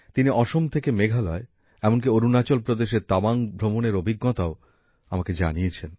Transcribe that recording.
তিনি অসম থেকে মেঘালয় এমনকি অরুণাচল প্রদেশের তাওয়াং ভ্রমণের অভিজ্ঞতাও আমাকে জানিয়েছেন